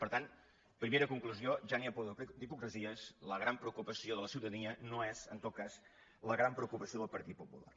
per tant primera conclu·sió ja n’hi ha prou d’hipocresies la gran preocu pació de la ciutadania no és en tot cas la gran preocupa·ció del partit popular